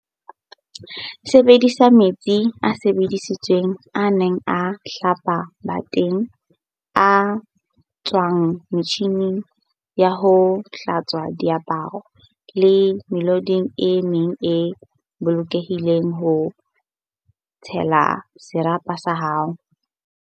Sebedisa metsi a sebedisitsweng a neng a hlapa bateng, a tswang metjhining ya ho hlatswa diaparo le mehloding e meng e bolokehileng ho tshella serapa sa hao.